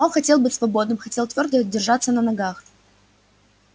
он хотел быть свободным хотел твёрдо держаться на ногах